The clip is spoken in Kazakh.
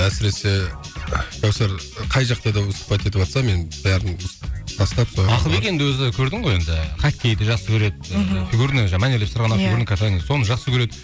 әсіресе кәусәр қай жақта да выступать етіватса мен бәрін тастап ақылбек енді өзі көрдің ғой енді хоккейді жақсы көреді соны жақсы көреді